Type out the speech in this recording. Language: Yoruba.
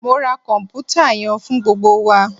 Mo ra kọnputa yẹn fun gbogbo wa!